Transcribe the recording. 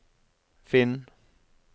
finn